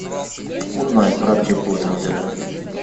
узнай про аптеку в этом отеле